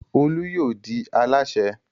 Olú yóò di alásè.